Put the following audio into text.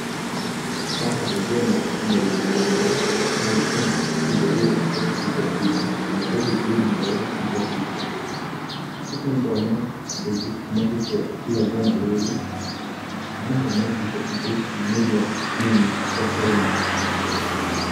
Haha, ngona hena igongona rĩa kũhingũra kĩndũ gĩgwĩtwo tingatinga kana ũhingũri mweru wa tingatinga, second ngona andũ aingĩ nĩmathiĩte igongona rĩrĩ, na ngona tingatinga ici nĩ iria ng'emu cia kũrĩma.